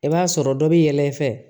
I b'a sɔrɔ dɔ bɛ yɛlɛ i fɛ